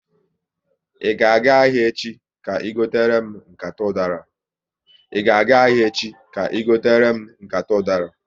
Ị ga aga ahịa echi, ka i gotere m nkata udara?